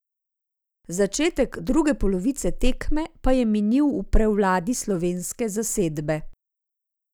Začetek druge polovice tekme pa je minil v prevladi slovenske zasedbe.